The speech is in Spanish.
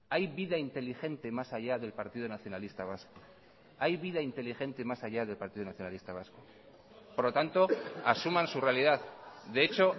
hay vida inteligente más allá del partido nacionalista vasco hay vida inteligente más allá del partido nacionalista vasco por lo tanto asuman su realidad de hecho